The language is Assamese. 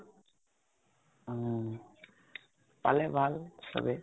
উম । পালে ভাল, সবেই ।